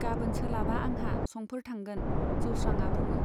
गाबोन सोलाबा आंहा संफोर थांगोन, जौस्रांआ बुङो।